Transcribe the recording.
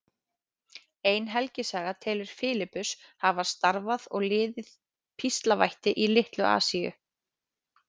Ein helgisaga telur Filippus hafa starfað og liðið píslarvætti í Litlu-Asíu.